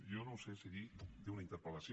jo no sé si dir d’una interpel·lació